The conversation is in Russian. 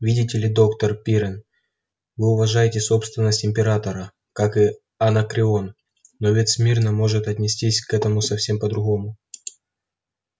видите ли доктор пиренн вы уважаете собственность императора как и анакреон но ведь смирно может отнестись к этому совсем по-другому